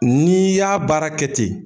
Ni y'a baara kɛ ten